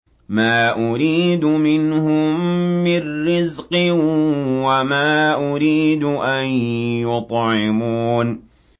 مَا أُرِيدُ مِنْهُم مِّن رِّزْقٍ وَمَا أُرِيدُ أَن يُطْعِمُونِ